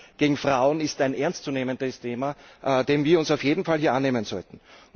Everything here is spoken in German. Gewalt gegen Frauen ist ein ernst zu nehmendes Thema, dem wir uns auf jeden Fall annehmen sollten.